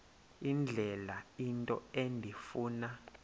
indlela into endifuna